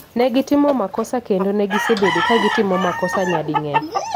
Negitimo makosa kendo negisebedo kagitimo makosa nyading'eny